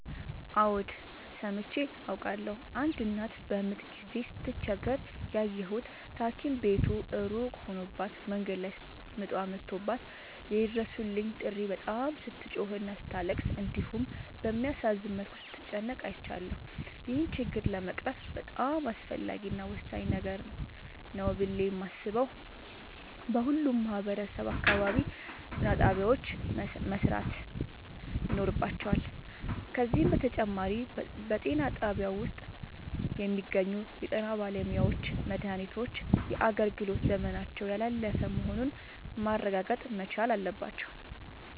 አዎድ ሠምቼ አውቃለሁ። አንድ እናት በምጥ ጊዜ ስትቸገር ያየሁት ታኪም ቤቱ እሩቅ ሆኖባት መንገድ ላይ ምጧ መቶባት የይድረሡልኝ ጥሪ በጣም ስትጮህና ስታለቅስ እንዲሁም በሚያሳዝን መልኩ ስትጨነቅ አይቻለሁ። ይህን ችግር ለመቅረፍ በጣም አስፈላጊ እና ወሳኝ ነገር ነው ብሌ የማሥበው በሁሉም ማህበረሠብ አካባቢ ጤናጣቢያዎች መሠራት ይኖርባቸዋል። ከዚህም በተጨማሪ በጤናጣቢያው ውስጥ የሚገኙ የጤናባለሙያዎች መድሃኒቶች የአገልግሎት ዘመናቸው ያላለፈ መሆኑን ማረጋገጥ መቻል አለባቸው።